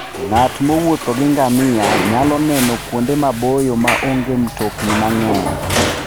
Ng'at mowuotho gi ngamia nyalo neno kuonde maboyo ma onge mtokni mang'eny.